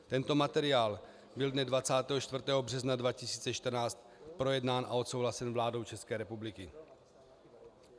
Tento materiál byl dne 24. března 2014 projednán a odsouhlasen vládou České republiky.